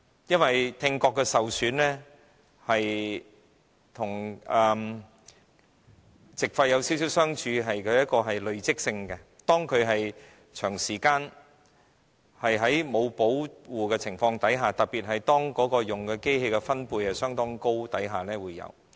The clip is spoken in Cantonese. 因為聽覺的受損與肺塵埃沉着病的相似地方是累積性，當工人長時間在沒有保護的情況下，特別是當使用相當高分貝的機械的情況下而導致。